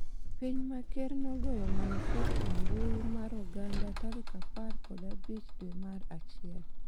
piny ma ker nogoyo marufuku mbui mar oganda tarik apar kod abich dwe mar achiel